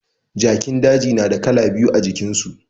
Jakin daji na da kala biyu a jikin su